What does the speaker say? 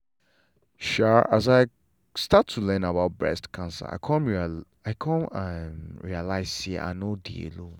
um as i start to learn about breast cancer i come um realize say i no dey alone.